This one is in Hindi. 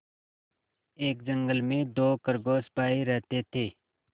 एक जंगल में दो खरगोश भाई रहते थे